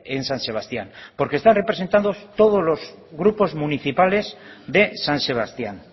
en san sebastián porque están representados todos los grupos municipales de san sebastián